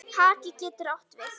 Haki getur átt við